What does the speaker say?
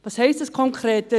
Was heisst das konkret?